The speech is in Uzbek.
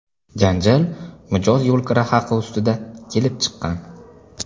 Janjal mijoz yo‘lkira haqi ustida kelib chiqqan.